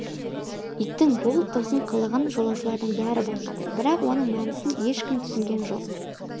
иттің бұл тосын қылығын жолаушылардың бәрі байқады бірақ оның мәнісін ешкім түсінген жоқ